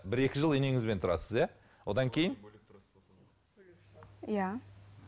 бір екі жыл енеңізбен тұрасыз иә одан кейін иә